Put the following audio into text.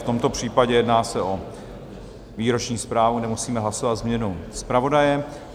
V tomto případě jedná se o výroční zprávu, nemusíme hlasovat změnu zpravodaje.